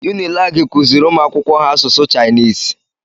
Unilagi kuziri umuakwụkwọ ha asụsụ Chainisi